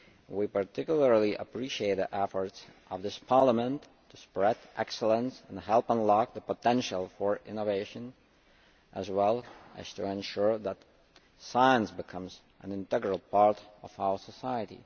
We particularly appreciate the efforts of this Parliament to spread excellence and help unlock the potential for innovation, as well as to ensure that science becomes an integral part of our society.